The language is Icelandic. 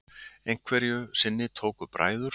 Einhverju sinni tóku bræður